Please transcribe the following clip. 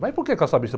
Mas por que?